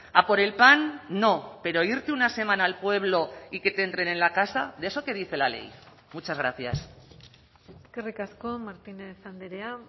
a por el pan no pero irte una semana al pueblo y que te entren en la casa de eso qué dice la ley muchas gracias eskerrik asko martínez andrea